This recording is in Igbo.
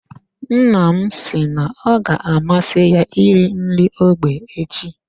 Nna m si na ọ ga amasị ya iri nri ógbè echi.